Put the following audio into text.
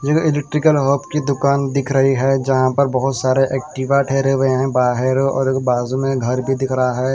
Electrical हॉब की दुकान दिख रही है जहां पर बहुत सारे एक्टिवा ठेरे हुए हैं बाहर और बाजू में घर भी दिख रहा है.